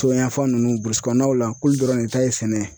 Toɲafan ninnu k'olu dɔrɔn de ta ye sɛnɛ ye.